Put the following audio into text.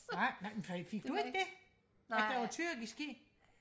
nej nej fik du ikke det at der var tyrkisk i